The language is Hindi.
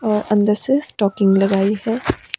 और अंदर से स्टॉकिंग लगाइ हैं।